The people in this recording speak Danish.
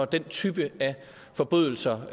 den type forbrydelser